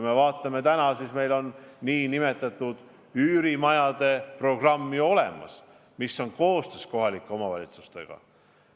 Meil on ju nn üürimajade programm olemas ja seda viiakse ellu koostöös kohalike omavalitsustega.